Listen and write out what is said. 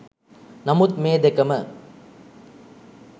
නමුත් මේ දෙකම